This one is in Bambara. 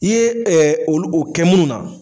I ye olu o kɛ munnu na